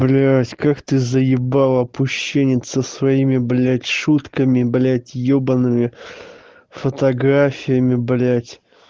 блять как ты заебал опущенец со своими блять шутками блять ёбаными фотографиями блять